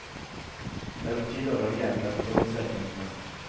Det er på tide å velge en velkvalifisert jente.